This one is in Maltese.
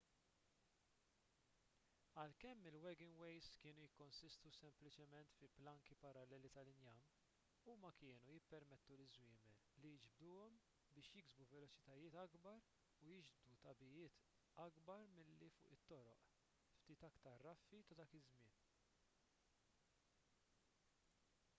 għalkemm il-wagonways kienu jikkonsistu sempliċement fi planki paralleli tal-injam huma kienu jippermettu liż-żwiemel li jiġbduhom biex jiksbu veloċitajiet akbar u jiġbdu tagħbijiet akbar milli fuq it-toroq ftit aktar raffi ta' dak iż-żmien